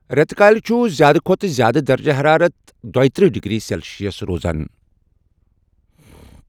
رٮ۪تہٕ کالہِ چھُ زیٛادٕ کھۄتہٕ زیٛادٕ درجہ ہرارت دۄیہ ترٕٛہہ ڈگری سٮ۪لشٮ۪س روزان ۔